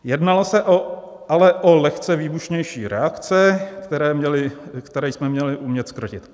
Jednalo se ale o lehce výbušnější reakce, které jsme měli umět zkrotit.